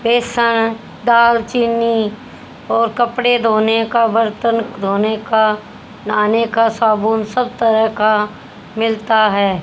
ये दाल चीनी और कपड़े धोने का बर्तन धोने का नहाने का साबुन सब तरह का मिलता है।